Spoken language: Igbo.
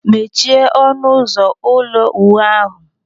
Mechie ọnụ ụzọ ụlọ ulo uwu ahụ.